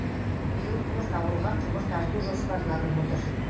биыл төрт ауылға құбыр тарту жоспарланып отыр